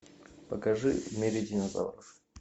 покажи в мире динозавров